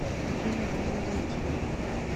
афина можно войти